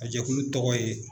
A jɛkulu tɔgɔ ye.